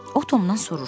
O Tomdan soruşdu.